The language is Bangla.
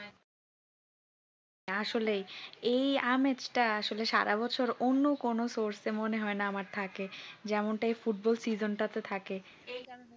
আসলেই এই আমেজ টা আসলে সারা বছর অন্য কোন source মনে হয়নি আমার থাকে যেমনটা এই ফুটবল season তাতে থাকে